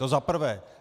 To za prvé.